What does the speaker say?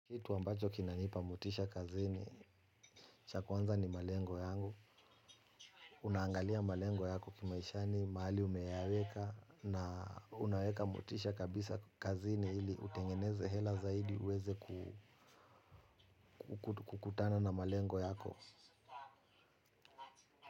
Kitu ambacho kinanipa motisha kazini, cha kwanza ni malengo yangu, unaangalia malengo yako kimaishani mahali umeyaweka na unaweka motisha kabisa kazini hili utengeneze hela zaidi uweze kukutana na malengo yako.